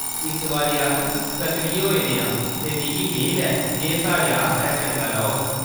इस बारी, अस सक्रिय होआ ने आं ते मिगी मेद ऐ जे एह्‌‌ साढ़े आस्तै चंगा रौह्ग।